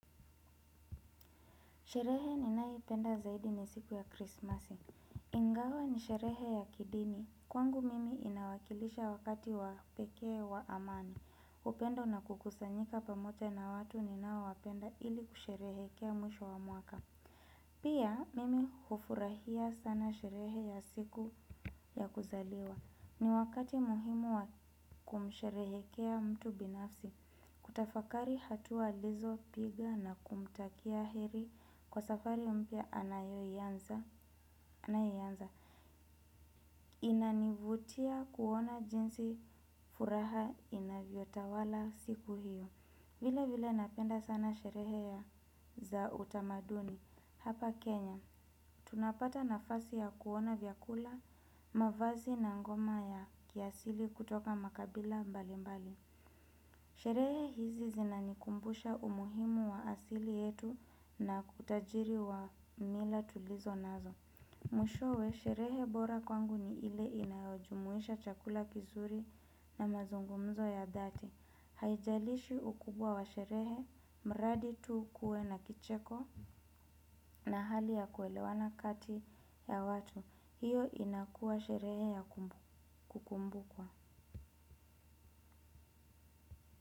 Sherehe ninaipenda zaidi ni siku ya Krismasi. Ingawa ni sherehe ya kidini. Kwangu mimi inawakilisha wakati wa pekee wa amani. Upendo na kukusanyika pamoja na watu ninaowapenda ili kusherehekea mwisho wa mwaka. Pia mimi hufurahia sana sherehe ya siku ya kuzaliwa. Ni wakati muhimu wa kumsherehekea mtu binafsi. Kutafakari hatua alizopiga na kumtakia heri kwa safari mpya anayoianza. Inanivutia kuona jinsi furaha inavyotawala siku hiyo vile vile napenda sana sherehe ya za utamaduni hapa Kenya. Tunapata nafasi ya kuona vyakula mavazi na ngoma ya kiasili kutoka makabila mbalimbali sherehe hizi zinanikumbusha umuhimu wa asili yetu na kutajiri wa mila tulizo nazo. Mwishowe, sherehe bora kwangu ni ile inayojumuisha chakula kizuri na mazungumzo ya dhati. Haijalishi ukubwa wa sherehe, mradi tu ukue na kicheko na hali ya kuelewana kati ya watu. Hiyo inakuwa sherehe ya kukumbukwa.